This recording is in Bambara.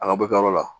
A ka bɔ i ka yɔrɔ la